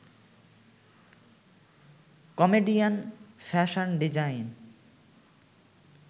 comedian, fashion design